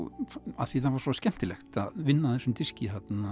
af því það var svo skemmtilegt að vinna að þessum diski